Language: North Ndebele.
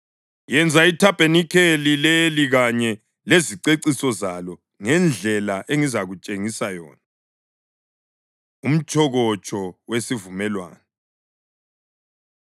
Yenza ithabanikeli leli kanye leziceciso zalo ngendlela engizakutshengisa yona.” Umtshokotsho Wesivumelwano